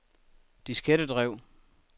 diskettedrev